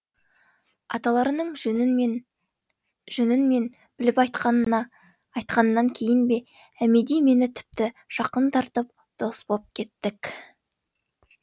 аталарының жөнін мен біліп айтқаннан кейін бе әмеди мені тіпті жақын тартып дос боп кеттік